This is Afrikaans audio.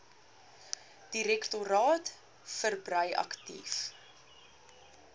direktoraat verbrei aktief